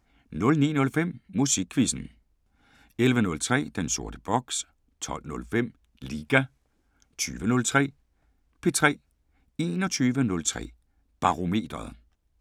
09:05: Musikquizzen 11:03: Den sorte boks 12:05: Liga 20:03: P3 21:03: Barometeret